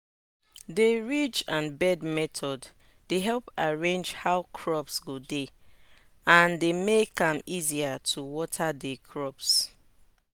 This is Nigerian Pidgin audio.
de ridge and bed method dey help arrange how crops go dey and dey make am easier to water de crops